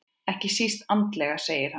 Ekki síst andlega segir hann.